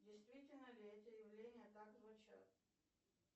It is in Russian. действительно ли эти явления так звучат